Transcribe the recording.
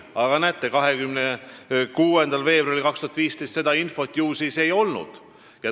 Aga näete, ilmselt siis 26. veebruaril 2015 seda infot ei olnud.